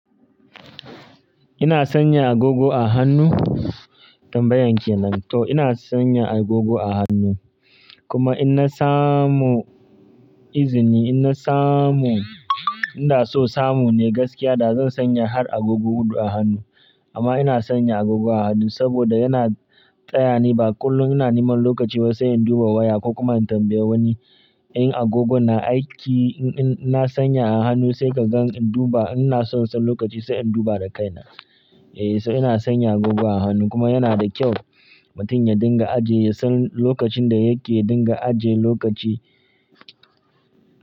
Ina sanya agogo a hannu? Tambayan kyanan to ina sanya agogo a hannu. Kuma in na samu izini, in na samu, inda so samu ne gaskiya da zan sanya har agogo huɗu a hannu. Amma ina sanya agogo a hannu saboda yana taya ni ba kullum ina neman lokaci ba sai in duba waya ko kuma in tambaya wani. In agogon na aiki, in na sanya a hannu sai kagan in duba. Ina son san lokaci sai in duba da kaina. Eh, so ina sanya agogo a hannu kuma yana da kyau mutum ya dinga ajiye ya san lokacin da yake dinga ajiye lokaci.